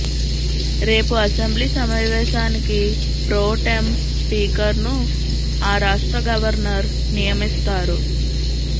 రేపు అసెంబ్లీ సమావేశానికి pro tem speaker ను ఆ రాష్ట్ర గవర్నర్ నియమిస్తారు